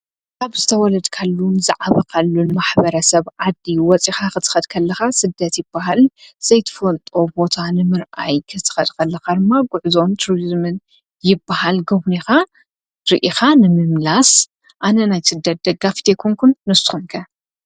ካብ ዝተ ወለድካሉን ዝዓበቓሉን ማኅበረ ሰብ ዓዲ ወፂኻ ኽትኸድከለኻ ሥደት ይበሃል ሰይትፎልጦቦታ ንምርኣይ ክትኸድቀለኻ ርማ ጕዕዞን ቱርስምን ይበሃል ጐብንኻ ርኢኻ ንም። ምላስ ኣነናይ ስደደጋ ፍቴኮንኩን ንቶንገ።